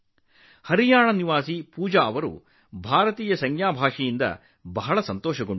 ಹರಿಯಾಣದ ಪೂಜಾ ಅವರು ಭಾರತೀಯ ಸಂಜ್ಞೆ ಭಾಷೆಯಿಂದ ತುಂಬಾ ಸಂತೋಷವಾಗಿದ್ದಾರೆ